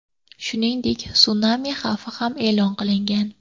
Shuningdek sunami xavfi ham e’lon qilinmagan.